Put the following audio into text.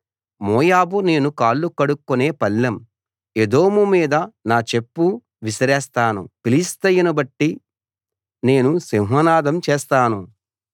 మోయాబు నేను కాళ్లు కడుక్కునే పళ్ళెం ఎదోము మీద నా చెప్పు విసిరేస్తాను ఫిలిష్తియను బట్టి నేను సింహనాదం చేస్తాను